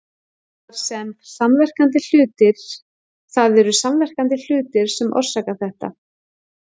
Það eru samverkandi hlutir sem orsaka þetta.